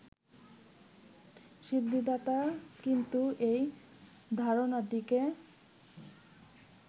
সিদ্ধিদাতা কিন্তু এই ধারণাটিকে